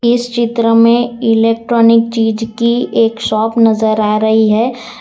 इस चित्र में इलेक्ट्रॉनिक चीज की एक शॉप नजर आ रही है।